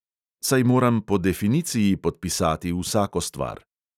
Saj moram po definiciji podpisati vsako stvar.